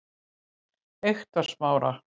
Eyktarsmára